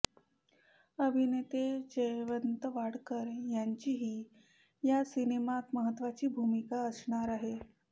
अभिनेते जयवंत वाडकर यांचीही या सिनेमात महत्त्वाची भूमिका असणार आहे